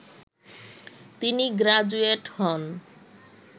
তিনি গ্রাজুয়েট হন